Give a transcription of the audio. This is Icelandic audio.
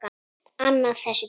Annað þessu tengt.